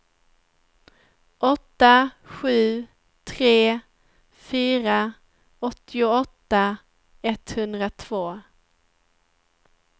åtta sju tre fyra åttioåtta etthundratvå